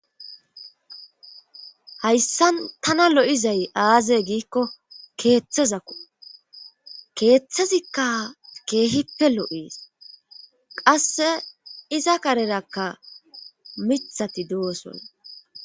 hayssan tana lo7izay aaze giikko keeththezakku keeththezikka keehippe lo7ees qasse iza karerakka mithati dooson